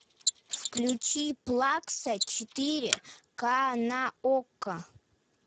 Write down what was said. включи плакса четыре ка на окко